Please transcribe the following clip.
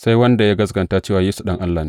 Sai wanda ya gaskata cewa Yesu Ɗan Allah ne.